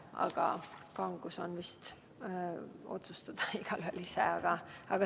Aga kangus on vist igaühe enda otsustada.